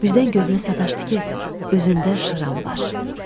Birdən gözümə sataşdı ki, üzündə şıram var.